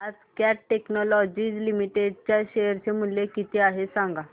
आज Cat Technologies Limited चे share चे मूल्य किती आहे सांगा